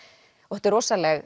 þetta er rosaleg